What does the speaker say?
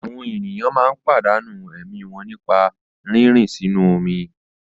Àwọn ènìyàn máa ń pàdánù ẹ̀mí wọn nípa rírìn sínú omi.